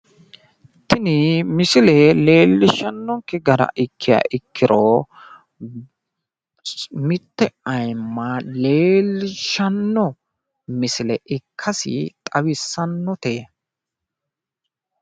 tini misile leellishanoke gara ikkiha ikkiro mitte ayiimma leellishshanno misile ikkasi xawissannote.